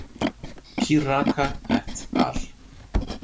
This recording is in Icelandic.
Kiraga et al.